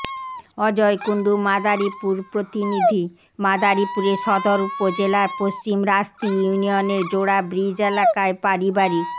অজয় কুন্ডু মাদারীপুর প্রতিনিধিঃ মাদারীপুরে সদর উপজেলার পশ্চিম রাস্তি ইউনিয়নের জোড়া ব্রিজ এলাকায় পারিবারি